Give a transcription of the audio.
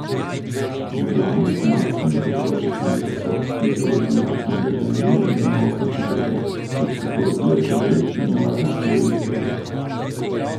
Med glavnimi tematskimi področji centra so fiziologija in vedenje medonosne čebele, toksikologija čebel in varnost čebeljih pridelkov.